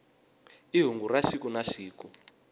i hungu ra siku na siku